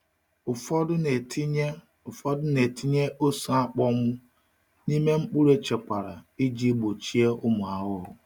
Ụfọdụ na-etinye Ụfọdụ na-etinye ose akpọnwụ n’ime mkpụrụ echekwara iji gbochie ụmụ ahụhụ.